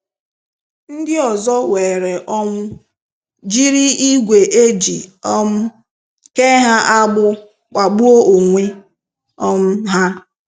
Ndị ọzọ weere onwu, jiri igwe eji um ke ha agbu kpagbuo onwe um ha.